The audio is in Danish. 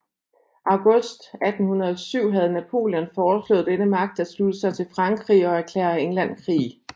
August 1807 havde Napoleon foreslået denne magt at slutte sig til Frankrig og erklære England krig